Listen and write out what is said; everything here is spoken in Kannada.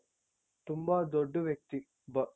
ತುಂಬಾ ದೊಡ್ಡ ವ್ಯಕ್ತಿ